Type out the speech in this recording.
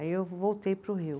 Aí eu voltei para o Rio.